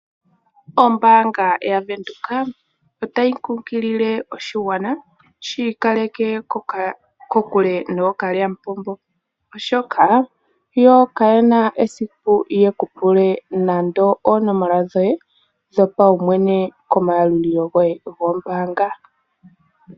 Ombaanga ya Venduka otayi kunkilile oshigwana, shiikaleke kokule nookalyamupombo. Oshoka yokayena esiku yekupule oonomola dhoye dhopawumwene komayalulilo goye gombaanga.